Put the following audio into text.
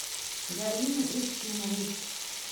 галины устиновой